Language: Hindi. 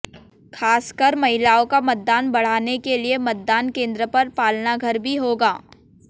खासकर महिलाओं का मतदान बढ़ाने के लिए मतदान केंद्र पर पालनाघर भी होगा